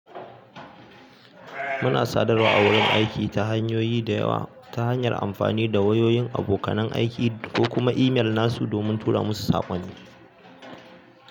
Muna sadarwa a wurin aiki ta hanyoyi da yawa ta hanyar amfani da wayoyin abokan aiki ko kuma email nasu domin tura musu saƙonni.